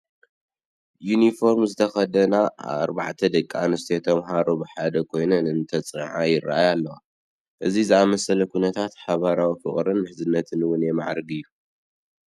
ዩኒፎርም ዝተኸደና ኣርባዕተ ደቂ ኣንስትዮ ተመሃሮ ብሓባር ኮይነን እንተፅንዓ ይርአያ ኣለዋ፡፡ ከምዚ ዝአምሰለ ኩነት ሓበራዊ ፍቕርን ምሕዝነትን እውን የማዕብል እዩ፡፡